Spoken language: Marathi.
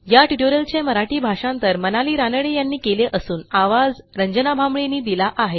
या ट्युटोरियलचे मराठी भाषांतर मनाली रानडे यांनी केले असून आवाज यांनी दिला आहे